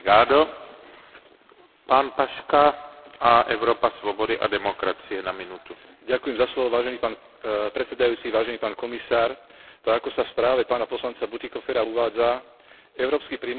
Vážený pán predsedajúci, vážený pán komisár, tak, ako sa v správe pána poslanca Bütikofera uvádza, európsky priemysel sa dostáva do stále väčších ťažkostí pri získavaní surovín potrebných pre inovatívnu produkciu.